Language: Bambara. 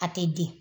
A tɛ di